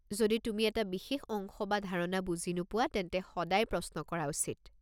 যদি তুমি এটা বিশেষ অংশ বা ধাৰণা বুজি নোপোৱা তেন্তে সদায় প্ৰশ্ন কৰা উচিত।